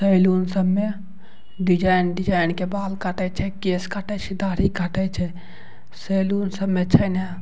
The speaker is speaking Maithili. सैलून सब में डिज़ाइन - डिज़ाइन के बाल काटे छे केश काटे छे ढाढी काटे छे सैलून सब में छय ना --